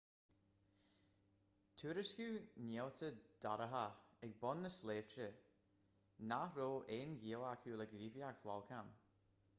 tuairiscíodh néalta dorcha ag bun na sléibhe nach raibh aon ghaol acu le gníomhaíocht bholcáin